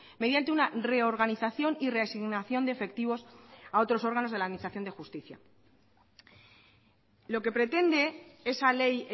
mediante una reorganización y reasignación de efectivos a otros órganos de la administración de justicia lo que pretende esa ley